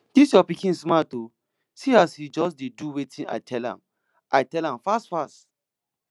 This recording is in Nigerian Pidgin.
dis your pikin smart oo see as he just dey do wetin i tell am i tell am fast fast